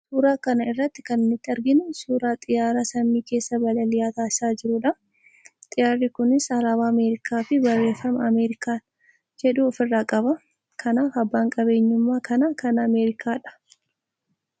Suuraa kana irratti kan nuti arginu, suuraa xiyyaaraa samii keessa balalii taassisaa jirudha. Xiyyaarri kunis alaabaa Ameerikaa fi barreeffama "American" jedhu of irraa qaba. Kanaaf, abbaan qabeenyummaa kanaa kan Ameerikaadha.